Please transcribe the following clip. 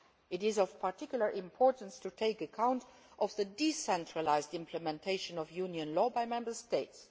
It is of particular importance to take account of the decentralised implementation of Union law by Member States.